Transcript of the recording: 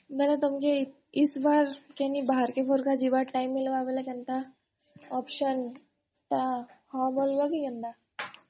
ବେଲେ ତମକେ ଇସ୍ ବାର୍ କେନି ବାହାର କେ ଯିବାର time ମିଳିଲେ କେନ୍ତା option ଟା ହଁ କରବ କି କେନ୍ତା?